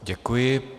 Děkuji.